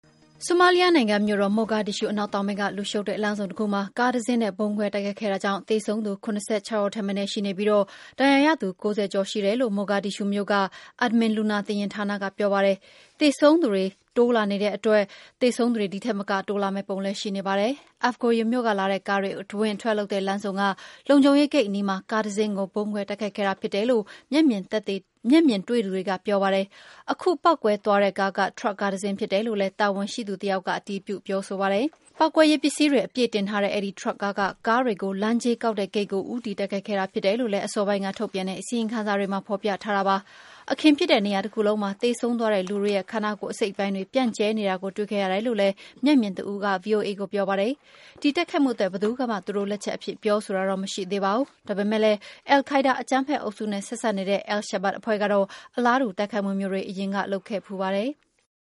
ဆိုမားလီးယားနိုင်ငံ၊ မြို့တော် မိုဂါဒစ်ရှူး အနောက်တောင်ပိုင်းက လူရှုပ်တဲ့ လမ်းဆုံတခုမှာ ကားတစီးနဲ့ ဗုံးခွဲတိုက်ခိုက်ခဲ့တာကြောင့် သေဆုံးသူ ၇၆ ဦးထက်မနည်း ရှိပြီး ဒဏ်ရာရသူ ၅၀ ကျော်တယ်လို့ မိုဂါဒစ်ရှူးမြို့ Aamin လူနာတင်ယာဉ်ဌာနက ပြောပါတယ်။ အစိုးရအရာရှိတချို့ကတော့ သေဆုံးသူ ၉၀ လောက်ထိရှိတယ်လို့ ပြောနေတာကြောင့် သေဆုံးသူအရေအတွက်က တိုးလာမယ့်ပုံ ရှိပါတယ်။ Afgoye မြို့ကလာတဲ့ ကားတွေ အဝင်အထွက်လုပ်တဲ့ လမ်းဆုံက လုံခြုံရေးဂိတ်အနီးမှာ ကားတစီးကို ဗုံးခွဲတိုက်ခိုက်ခဲ့တာ ဖြစ်တယ်လို့ မျက်မြင်တွေ့သူတွေက ပြောပါတယ်။ ခုပေါက်ကွဲသွားတဲ့ကားက ထရပ်ကားတစီး ဖြစ်တယ်လို့လည်း တာဝန်ရှိသူတယောက်က အတည်ပြု ပြောဆိုပါတယ်။ ပေါက်ကွဲရေးပစ္စည်းတွေ အပြည့်တင်လာတဲ့ အဲဒီထရပ်ကားက ကားတွေ လမ်းကြေးကောက်တဲ့ဂိတ်ကို ဦးတည်တိုက်ခိုက်ခဲ့တာ ဖြစ်တယ်လို့ အစောပိုင်းက ထုတ်ပြန်တဲ့ အစီရင်ခံစာမှာ ဖော်ပြထားပါတယ်။ အခင်းဖြစ်တဲ့ နေရာတခုလုံးမှာ သေဆုံးသွားတဲ့လူတွေနဲ့ ခန္ဓာကိုယ် အစိတ်အပိုင်းတွေ ပြန့်ကျဲနေတာကို တွေ့ခဲ့ရတယ်လို့လည်း မျက်မြင်တဦးက ဗွီအိုအေကို ပြောပါတယ်။ ဒီတိုက်ခိုက်မှုအတွက် ဘယ်သူကမှ သူတို့လက်ချက်အဖြစ် ပြောဆိုတာ မရှိသေးပါဘူး။ ဒါပေမယ့်လည်း အယ်လ်ခိုင်းဒါး အကြမ်းဖက်အုပ်စုနဲ့ ဆက်စပ်နေတဲ့ အယ်လ်ရှာဘတ် အဖွဲ့ကတော့ အလားတူ တိုက်ခိုက်မှုမျိုးတွေကို အရင်တုန်းက လုပ်ခဲ့ဖူးပါတယ်။